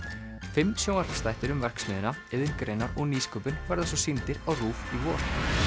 fimm sjónvarpsþættir um verksmiðjuna iðngreinar og nýsköpun verða svo sýndir á RÚV í vor